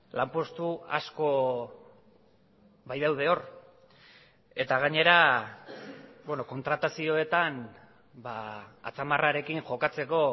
lanpostu asko bai daude hor eta gainera kontratazioetan atzamarrarekin jokatzeko